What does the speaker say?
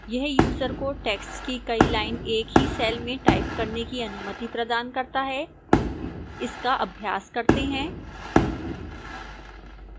यह यूजर को text की कई lines एक ही cell में type करने की अनुमति प्रदान करता है इसका अभ्यास करते हैं